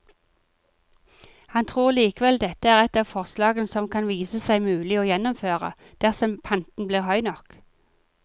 Han tror likevel dette er et av forslagene som kan vise seg mulig å gjennomføre, dersom panten blir høy nok.